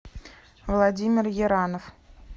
владимир еранов